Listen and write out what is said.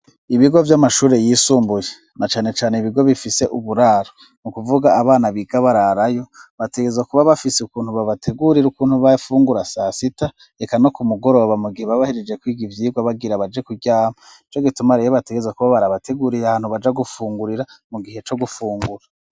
Ibigo vy'amashuri yisumbuye, na cane cane ibigo bifise uburaro, n'ukuvuga abana biga bararayo, bategerezwa kuba bafise ukuntu babategurira ukuntu bafungura sa sita, eka no ku mugoroba mu gihe baba bahejeje kwiga ivyigwa bagira baje kuryama. Nico gituma rero bategerezwa kuba barabateguriye ahantu baja gufungurira mu gihe co gufungura.